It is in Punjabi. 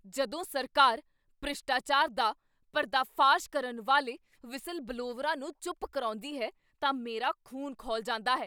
ਜਦੋਂ ਸਰਕਾਰ ਭ੍ਰਿਸ਼ਟਾਚਾਰ ਦਾ ਪਰਦਾਫਾਸ਼ ਕਰਨ ਵਾਲੇ ਵ੍ਹਿਸਲਬਲਵੋਅਰਾਂ ਨੂੰ ਚੁੱਪ ਕਰਾਉਂਦੀ ਹੈ ਤਾਂ ਮੇਰਾ ਖ਼ੂਨ ਖੌਲ ਜਾਂਦਾ ਹੈ।